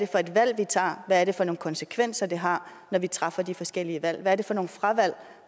for et valg vi tager hvad det er for nogle konsekvenser det har når vi træffer de forskellige valg hvad det er for nogle fravalg